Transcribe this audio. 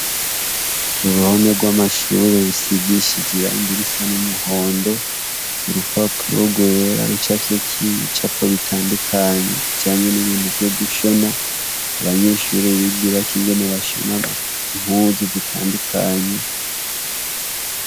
Uruhome rwamashure rusigishijwe irangi risa numuhondo urupapuro rwera rucafyeki ibicako bitandukanye bijanye nibintu vyo gushona abanyeshure bigirako ivyo gushona impuzu zitandukanye